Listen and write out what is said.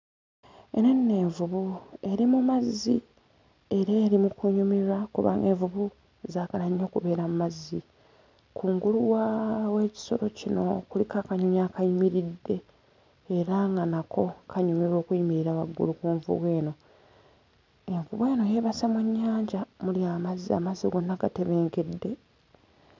Eno nno envubbu eri mu mazzi era eri mu kunyumirwa kubanga envubu zaagala nnyo okubeera mu mazzi. Waggulu waaa w'ekisolo kino kuliko akanyonyi akayimiridde, era nga nako kanyumirwa okuyimirira waggulu ku nvubu eno. Envubu eno yeebase mu nnyanja omuli amazzi , amazzi gonna gatebenkedde.